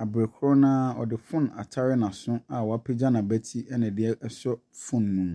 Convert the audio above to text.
Abre korɔ naa ɔde phone atare n'aso a wapegya nabɛti ɛna ɛde aso phone no mu.